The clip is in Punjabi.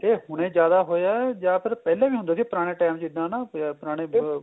ਇਹ ਹੁਣੇ ਜਿਆਦਾ ਹੋਇਆ ਜਾਂ ਫੇਰ ਪਹਿਲਾਂ ਵੀ ਹੁੰਦਾ ਸੀ ਪੁਰਾਣੇ time ਚ ਇੱਦਾ ਨਾ ਪੁਰਾਣੇ